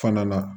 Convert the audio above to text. Fana na